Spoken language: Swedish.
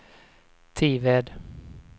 Tived